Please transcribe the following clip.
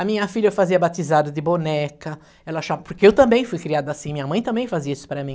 A minha filha fazia batizado de boneca, ela achava, porque eu também fui criada assim, minha mãe também fazia isso para mim.